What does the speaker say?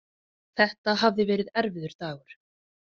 Þetta hafði verið erfiður dagur.